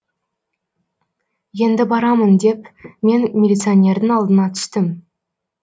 енді барамын деп мен милиционердің алдына түстім